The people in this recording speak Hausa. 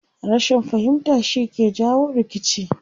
Rashin fahimta shi ke jawo rikici.